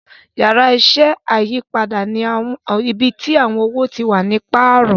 Yàrá iṣẹ́ ayípadà ni ibí tí àwọn owo tí wá ní paarọ